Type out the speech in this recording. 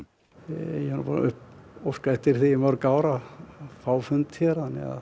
ég er búinn að óska eftir því í mörg ár að fá fund hér